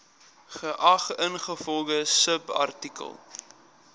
geag ingevolge subartikel